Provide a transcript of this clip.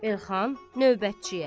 Elxan növbətçiyə.